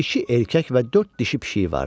İki erkək və dörd dişi pişiyi vardı.